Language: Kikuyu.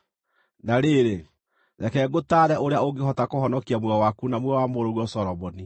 Na rĩrĩ, reke ngũtaare ũrĩa ũngĩhota kũhonokia muoyo waku na muoyo wa mũrũguo Solomoni.